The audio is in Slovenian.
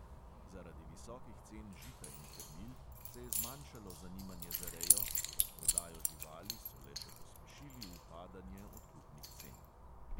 Zaradi visokih cen žita in krmil se je zmanjšalo zanimanje za rejo, z razprodajo živali so le še pospešili upadanje odkupnih cen.